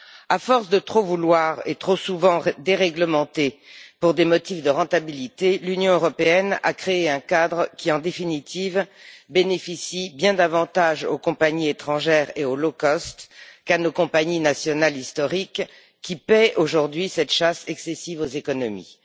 À force de trop vouloir et de trop souvent déréglementer pour des motifs de rentabilité, l'Union européenne a créé un cadre qui, en définitive, bénéficie bien davantage aux compagnies étrangères et aux qu'à nos compagnies nationales historiques, qui paient aujourd'hui cette chasse excessive aux économies.